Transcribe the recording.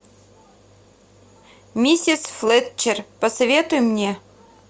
миссис флетчер посоветуй мне